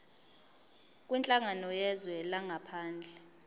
kwinhlangano yezwe langaphandle